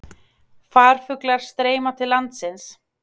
Farfuglar streyma til landsins